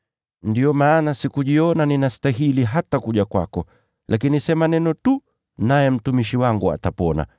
Ndiyo maana sikujiona hata ninastahili kuja kwako wewe. Lakini sema neno tu, naye mtumishi wangu atapona.